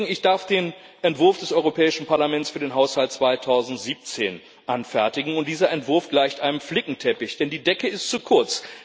Ich darf den Entwurf des Europäischen Parlaments für den Haushalt 2017 anfertigen, und dieser Entwurf gleicht einem Flickenteppich, denn die Decke ist zu kurz.